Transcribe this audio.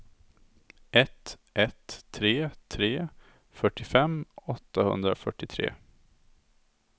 ett ett tre tre fyrtiofem åttahundrafyrtiotre